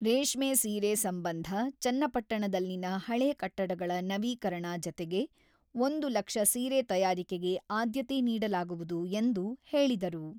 ರೇಷ್ಮೆ ಸೀರೆ ಸಂಬಂಧ ಚನ್ನಪಟ್ಟಣದಲ್ಲಿನ ಹಳೆ ಕಟ್ಟಡಗಳ ನವೀಕರಣ ಜತೆಗೆ ಒಂದು ಲಕ್ಷ ಸೀರೆ ತಯಾರಿಕೆಗೆ ಆದ್ಯತೆ ನೀಡಲಾಗುವುದು ಎಂದು ಹೇಳಿದರು.